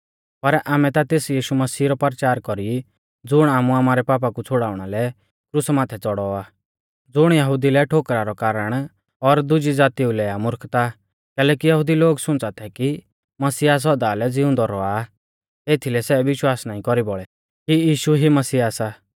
पर आमै ता तेस यीशु मसीह रौ परचार कौरी ज़ुण आमु आमारै पापा कु छ़ुड़ाउणा लै क्रुसा माथै च़ौड़ौ आ ज़ुण यहुदी लै ठोकरा रौ कारण और दुजै ज़ातीऊ लै आ मुर्खता कैलैकि यहुदी लोग सुंच़ा थै कि मसीहा सौदा लै ज़िउंदौ रौआ आ एथीलै सै विश्वास नाईं कौरी बौल़ै कि यीशु ई मसीहा सा